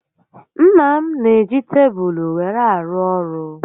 Nna m n'eji tebulu were arụ ọrụ